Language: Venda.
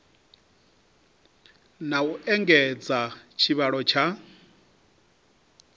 na u engedza tshivhalo tsha